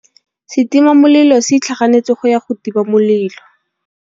Setima molelô se itlhaganêtse go ya go tima molelô.